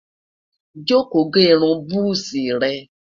joko gé irún buzi re